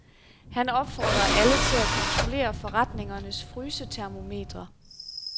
Han opfordrer alle til at kontrollere forretningernes frysetermometre.